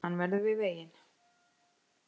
Hann verður við veginn